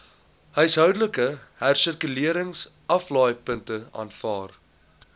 huishoudelike hersirkuleringsaflaaipunte aanvaar